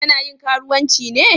Ta na yin karuwanci ne?